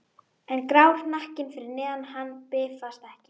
En grár hnakkinn fyrir neðan hann bifast ekki.